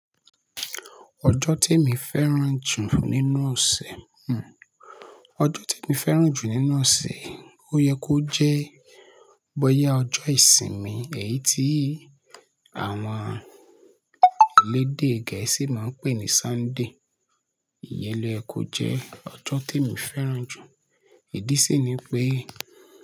Ọjọ́ te mi fẹ́ràn jù nínú ọ̀sẹ̀, ọjọ́ te mi fẹ́ràn jù nínú ọ̀sẹ̀ ó yẹ kó jẹ́ bọ́yá ọjọ́ ìsinmi èyí tí àwọn elédè gẹ̀ẹ́sì máa ń pè ní Sunday. Iyẹlo èkó jẹ́ ọjọ́ tí mo fẹ́ràn jù. Ìdí sì ni pé.